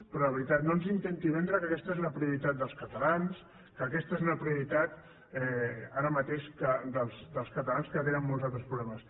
però de veritat no ens intenti vendre que aquesta és la prio ritat dels catalans que aquesta és una prioritat ara mateix dels catalans que tenen molts altres problemes